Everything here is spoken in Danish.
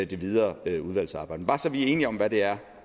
det videre udvalgsarbejde bare så vi er enige om hvad det er